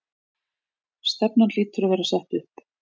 Stefnan hlýtur að vera sett upp?